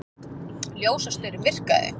Ljósastaurinn virkaði